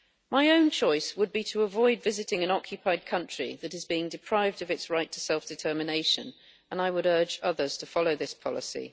My own choice would be to avoid visiting an occupied country that is being deprived of its right to self determination and I would urge others to follow this policy.